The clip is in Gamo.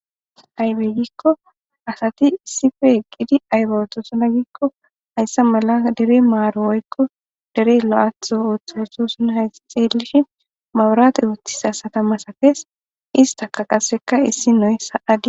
aybe gikko asati sife qidi aybaotosona gikko hayssa mala dere maaro oykko dere lo7atho ooththuesosuna hayi xeelish mawurate wooththisa satama safees istaka qasseka issinoy sa'agi